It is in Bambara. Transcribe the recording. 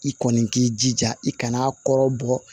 I kɔni k'i jija i kana kɔrɔbɔ bɔ